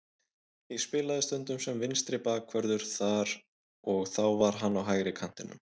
Ég spilaði stundum sem vinstri bakvörður þar og þá var hann á hægri kantinum.